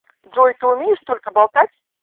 джой ты умеешь только болтать